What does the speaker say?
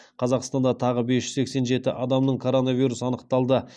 қазақстанда тағы бес жүз сексен жеті адамның коронавирус анықталды